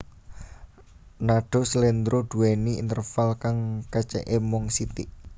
Nadha slendro duwéni interval kang kacèké mung sithik